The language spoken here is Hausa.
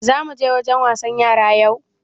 Za muje wajen wasan yara yau?